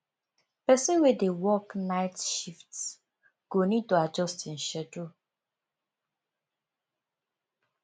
person wey dey work night shift go need to adjust im schedule